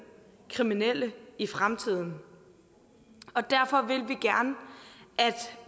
kriminelle i fremtiden og derfor vil